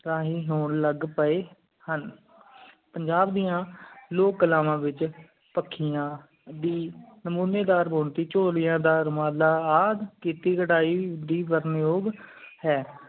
ਰਾਹੀਂ ਹੋਣ ਲੱਗ ਪਾਏ ਹਨ ਪੰਜਾਬ ਦੀਆ ਲੋਕ ਕਾਲਵਾ ਵਿਚ ਪੱਖੀਆਂ ਦੀ ਨਾਮੋਨੀਦਾਰ ਬੁਣਤੀ ਝੋਲੀਯਾਦਾਰ ਮਾਲਾ ਆ ਕੀਤੀ ਕਰੈ ਪਰਣਯੋਬ ਹੈ